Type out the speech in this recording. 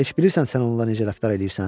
Heç bilirsən sən onunla necə rəftar eləyirsən?